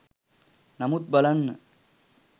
නමුත් බලන්න